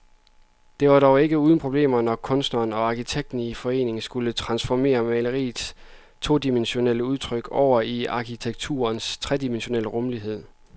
Det var dog ikke uden problemer, når kunstneren og arkitekten i forening skulle transformere maleriets todimensionelle udtryk over i arkitekturens tredimensionelle rumlighed.